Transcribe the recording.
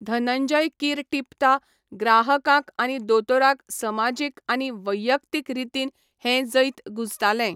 धनंजय कीर टिपता, ग्राहकांक आनी दोतोराक समाजीक आनी वैयक्तीक रितीन हें जैत गूंजतालें.